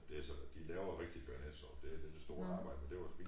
Det sådan at de laver rigtig bearnaisesauce dér det det store arbejde men det var så fint